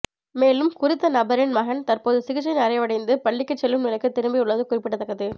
மேலும் குறித்த நபரின் மகன் தற்போது சிகிச்சை நிறைவடைந்து பள்ளிக்குச் செல்லும் நிலைக்கு திரும்பியுள்ளது குறிப்பிடத்தக்கது